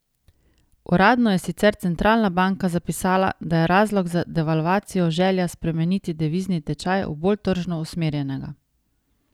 Uradno je sicer centralna banka zapisala, da je razlog za devalvacijo želja spremeniti devizni tečaj v bolj tržno usmerjenega.